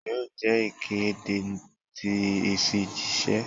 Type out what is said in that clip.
Yoo jẹ ikede ti ifijiṣẹ?